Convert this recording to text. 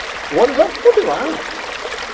O ônibus vai continuar.